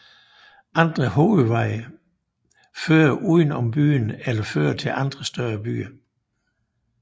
Andre hovedveje fører uden om byen eller fører til andre større byer